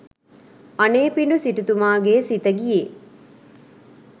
අනේපිඬු සිටුතුමාගේ සිත ගියේ